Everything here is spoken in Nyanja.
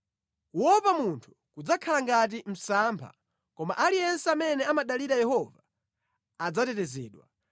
Kuopa munthu kudzakhala ngati msampha, koma aliyense amene amadalira Yehova adzatetezedwa.